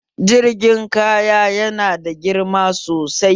Jirgin kaya yana da girma sosai